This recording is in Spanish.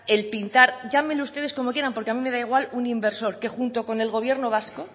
el pintar llámenlo ustedes como quieran porque a mí me da igual un inversor que junto con el gobierno vasco